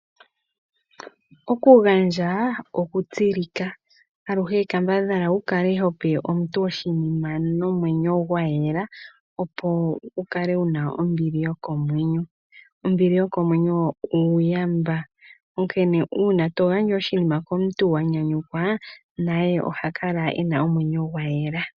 Okugandja okutsilika. Aluhe kambadhala wu kale ho pe omuntu oshinima nomwenyo gwa yela, opo wu kale wu na ombili yokomwenyo. Ombili yokomwenyo oyo uuyamba. Onkene uuna to gandja oshinima komuntu wa nyanyukwa naye oha kala e na omwenyo gwa yela.